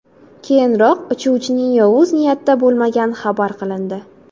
Keyinroq uchuvchining yovuz niyatda bo‘lmagani xabar qilindi.